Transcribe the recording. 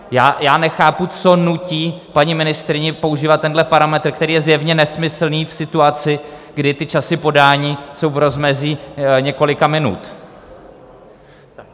Já nechápu, co nutí paní ministryni používat tenhle parametr, který je zjevně nesmyslný, v situaci, kdy ty časy podání jsou v rozmezí několika minut.